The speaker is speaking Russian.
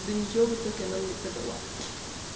до нее в итоге она мне продала